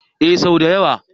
Ee sau da yawa.